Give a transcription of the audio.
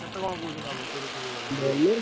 କେତେକଣ କହୁଛି ନବ ପୁରୀ ଫୁରି ଗଲେ?